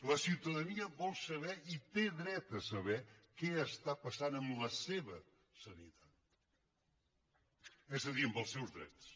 la ciutadania vol saber i té dret a saber ho què està passant amb la seva sanitat és a dir amb els seus drets